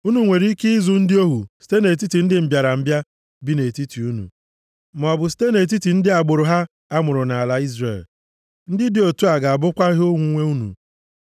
Unu nwere ike ịzụ ndị ohu site nʼetiti ndị mbịarambịa bi nʼetiti unu, maọbụ site nʼetiti ndị agbụrụ ha a mụrụ nʼala Izrel. Ndị dị otu a ga-abụkwa ihe onwunwe unu.